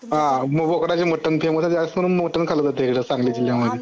आ बोकडाच्या मटन जास्त करून मटन खाल जात इकडे सांगलीत जिल्ह्या मधे